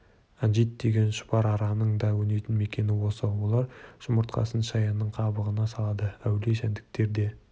анжид деген шұбар араның да өнетін мекені осы олар жұмыртқасын шаянның қабығына салады әулие жәндіктер де